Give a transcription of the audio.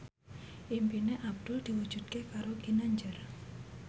impine Abdul diwujudke karo Ginanjar